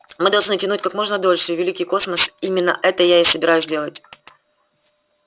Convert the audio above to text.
мы должны тянуть как можно дольше и великий космос именно это я и собираюсь делать